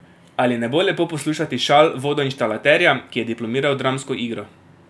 Ali ne bo lepo poslušati šal vodoinštalaterja, ki je diplomiral dramsko igro?